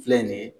Filɛ nin ye